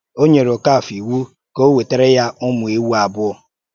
Ó nyere Okáfòr ìwù ka ò wetàrà ya ụ́mù èwú àbụ̀ọ.